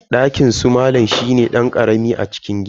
Dakinsu malam shine dan karami a cikin gidan.